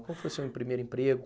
Qual foi o seu primeiro emprego?